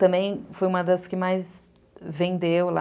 Também foi uma das que mais venderam lá.